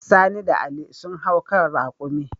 Sani da Ali sun hau kan raƙumi.